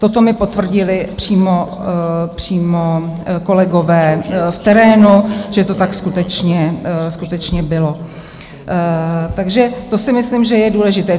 Toto mi potvrdili přímo kolegové v terénu, že to tak skutečně bylo, takže to si myslím, že je důležité.